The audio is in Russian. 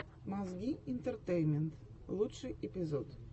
мозги интертеймент лучший эпизод